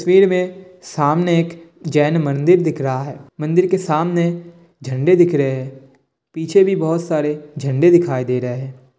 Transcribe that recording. तस्वीर में सामने एक जैन मंदिर दिख रहा है मंदिर के सामने झंडे दिख रहे हैं पीछे भी बहुत सारे झंडे दिखाई दे रहे हैं ।